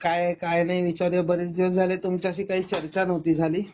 काए काय नाही विचारूया बरेच दिवस झाले तुमच्याशी चर्चा नव्हती झाली